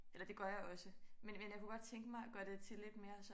Eller det gør jeg også men men jeg kunne godt tænke mig at gøre til lidt mere sådan